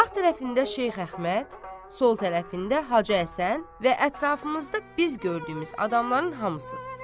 Sağ tərəfində Şeyx Əhməd, sol tərəfində Hacı Həsən və ətrafımızda biz gördüyümüz adamların hamısı.